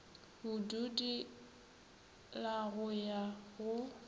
bodudi la go ya go